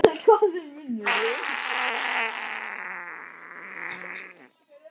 Þorbjörn Þórðarson: Hvers vegna?